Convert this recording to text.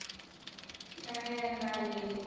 ka ge a na le